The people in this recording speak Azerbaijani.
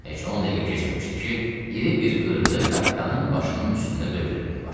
Heç 10 dəqiqə keçməmişdi ki, iri bir qırğı kapitanın başının üstündə dövr eləməyə başladı.